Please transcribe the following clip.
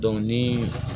ni